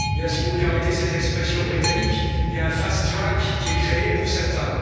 Il y a, si vous me permettez cette expression britannique, un fast track qui est créé pour certains.